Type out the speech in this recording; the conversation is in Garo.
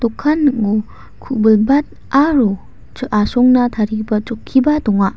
dokan ning·o ku·bilbat aro asongna tarigipa chokkiba donga.